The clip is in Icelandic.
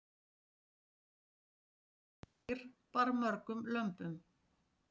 ekki er vitað hvað sú ær bar mörgum lömbum